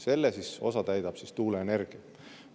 Selle osa täidab tuuleenergia.